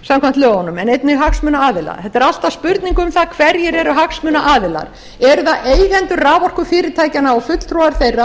samkvæmt lögunum en einnig hagsmunaaðilar þetta er alltaf spurning um það hverjir eru hagsmunaaðilar eru það eigendur raforkufyrirtækjanna og fulltrúar þeirra